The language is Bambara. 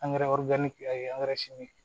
Angɛrɛ